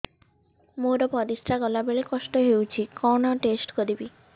ମୋର ପରିସ୍ରା ଗଲାବେଳେ କଷ୍ଟ ହଉଚି କଣ ଟେଷ୍ଟ କରିବି